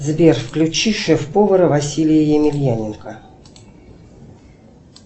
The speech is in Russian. сбер включи шеф повара василия емельяненко